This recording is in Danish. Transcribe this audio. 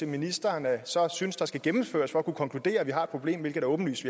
ministeren så synes der skal gennemføres for at kunne konkludere at vi har et problem hvilket er åbenlyst